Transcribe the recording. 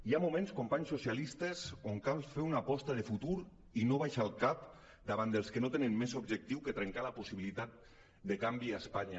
hi ha moments companys socialistes en què cal fer una aposta de futur i no abaixar el cap davant dels que no tenen més objectiu que trencar la possibilitat de canvi a espanya